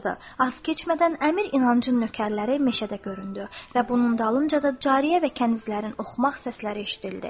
Az keçmədən əmir İnancın nökərləri meşədə göründü və bunun dalınca da cariyə və kənizlərin oxumaq səsləri eşidildi.